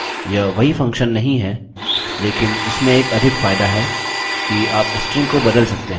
यह वही फंक्शन नहीं है लेकिन इसमें एक अधिक फायदा है कि आप स्ट्रिंग को बदल सकते हैं